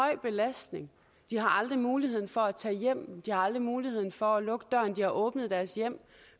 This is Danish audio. af belastning de har aldrig muligheden for at tage hjem de har aldrig muligheden for at lukke døren de har åbnet deres hjem